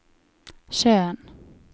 sjøen